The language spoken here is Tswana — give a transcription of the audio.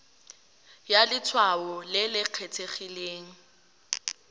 ya letshwao le le kgethegileng